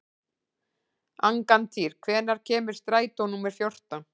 Angantýr, hvenær kemur strætó númer fjórtán?